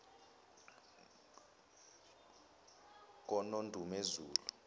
konondumezulu